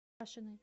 кашиной